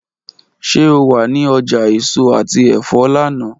Ṣe o wa ni ọja eso ati ẹfọ lana?